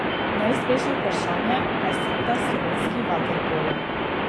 Neizbežno vprašanje pa je seveda slovenski vaterpolo.